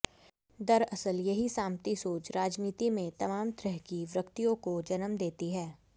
दरअसल यही सामंती सोच राजनीति में तमाम तरह की विकृतियों को जन्म देती है